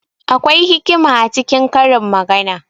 Akwai hikima a cikin karin magana.